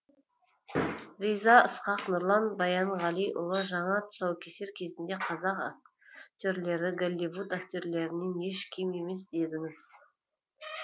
риза ысқақ нұрлан баянғалиұлы жаңа тұсаукесер кезінде қазақ актерлері голливуд актерлерінен еш кем емес дедіңіз